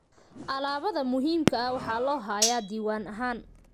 Alaabada muhiimka ah waxaa loo hayaa diiwaan ahaan.